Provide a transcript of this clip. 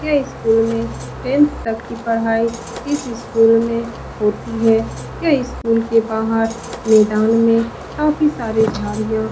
यह स्कूल में टेंथ तक की पढ़ाई इस स्कूल में होती है। यह स्कूल के बाहर मैदान में काफी सारे झाड़ियाँ --